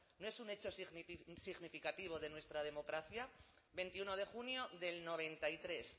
no es un hecho significativo de nuestra democracia veintiuno de junio del noventa y tres